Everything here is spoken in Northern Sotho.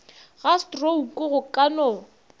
ga strouku go ka no